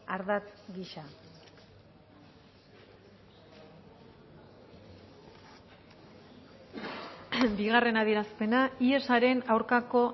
ardatz gisa bigarren adierazpena ihesaren aurkako